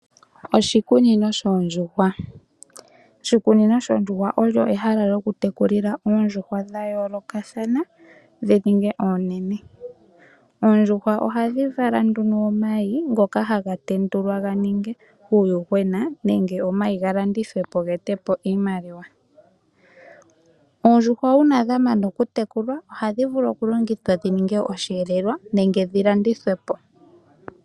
Oshikunino shoondjuhwa Oshikunino shoondjuhwa olyo ehala lyokutekulila oondjuhwa dha yoolokathana dhi ninge oonene. Oondjuhwa ohadhi vala nduno omayi ngoka haga tendulwa ga ninge uuyuhwena nenge omayi ga landithwe po ge ete po iimaliwa. Oondjuhwa uuna dha mana okutekulwa ohadhi vulu okudhipagwa po dhi ninge osheelelwa nenge dhi landithwe po.